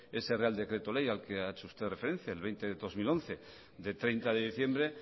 ese real decreto ley al que ha hecho usted referencia veinte barra dos mil once de treinta de diciembre